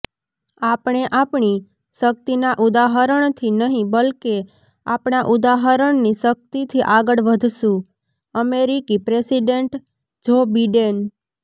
આપણે આપણી શક્તિના ઉદાહરણથી નહિ બલકે આપણા ઉદાહરણની શક્તિથી આગળ વધશુંઃ અમેરિકી પ્રેસિડેન્ટ જો બિડેન